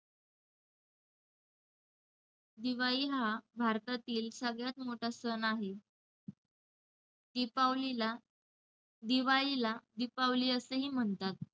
दिवाळी हा भारतातील सगळ्यात मोठा सण आहे. दिपावलीला~ दिवाळीला 'दीपावली' असंही म्हणतात.